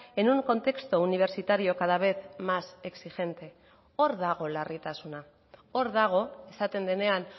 en un contexto universitario cada vez más exigente hor dago larritasuna hor dago esaten denean